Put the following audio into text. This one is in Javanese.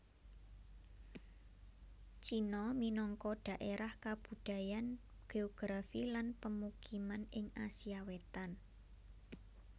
Cina minangka dhaérah kabudayan geografi lan pemukiman ing Asia Wétan